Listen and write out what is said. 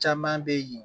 Caman be yen